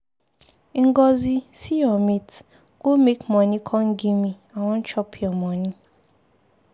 Ngọzi see your mate, go make money come give me, I wan chop your money.